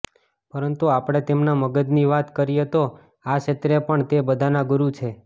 પરંતુ આપણે તેમના મગજની વાત કરીએતો આ ક્ષેત્રે પણ તે બધાના ગુરુ છે